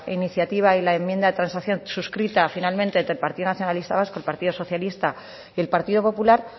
iniciativa y la enmienda transacción suscrita finalmente entre el partido nacionalista vasco el partido socialista y el partido popular